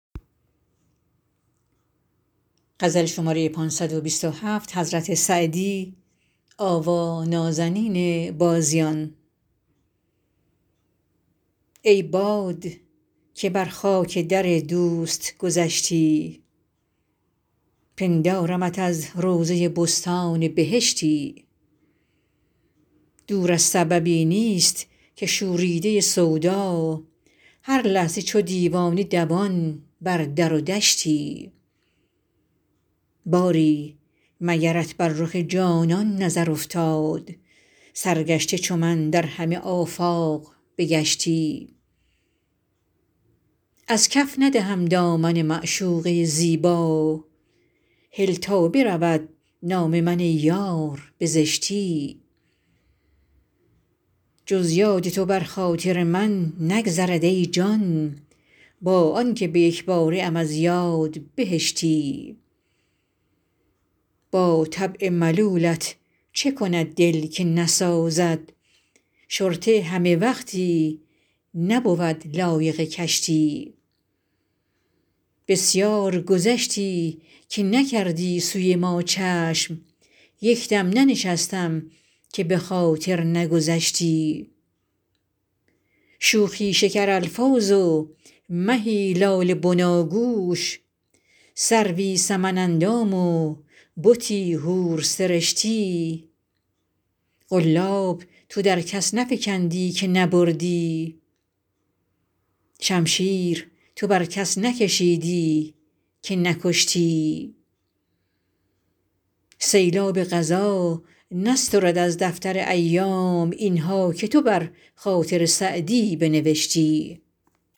ای باد که بر خاک در دوست گذشتی پندارمت از روضه بستان بهشتی دور از سببی نیست که شوریده سودا هر لحظه چو دیوانه دوان بر در و دشتی باری مگرت بر رخ جانان نظر افتاد سرگشته چو من در همه آفاق بگشتی از کف ندهم دامن معشوقه زیبا هل تا برود نام من ای یار به زشتی جز یاد تو بر خاطر من نگذرد ای جان با آن که به یک باره ام از یاد بهشتی با طبع ملولت چه کند دل که نسازد شرطه همه وقتی نبود لایق کشتی بسیار گذشتی که نکردی سوی ما چشم یک دم ننشستم که به خاطر نگذشتی شوخی شکرالفاظ و مهی لاله بناگوش سروی سمن اندام و بتی حورسرشتی قلاب تو در کس نفکندی که نبردی شمشیر تو بر کس نکشیدی که نکشتی سیلاب قضا نسترد از دفتر ایام این ها که تو بر خاطر سعدی بنوشتی